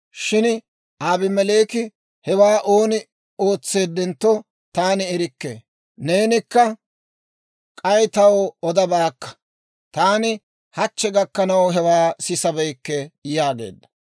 Shin Abimeleeki, «Hewaa ooni ootseedentto taani erikke; neenikka k'ay taw odabaakka; taani hachche gakkanaw hewaa sisabeykke» yaageedda.